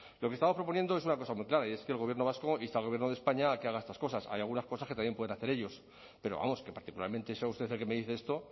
lo que estamos proponiendo es una cosa muy clara y es que el gobierno vasco inste al gobierno de españa a que haga estas cosas hay algunas cosas que también pueden hacer ellos pero vamos que particularmente sea usted el que me dice esto